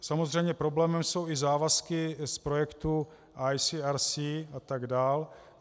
Samozřejmě problémem jsou i závazky z projektů ICRC a tak dál.